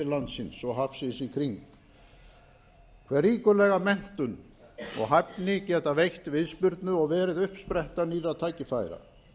landsins og hafsins í kring hve ríkulega menntun og hæfni geta veitt viðspyrnu og verið uppspretta nýrra tækifæra